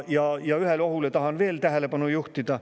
Tahan veel ühele ohule tähelepanu juhtida.